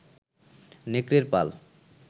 নেকড়ের পাল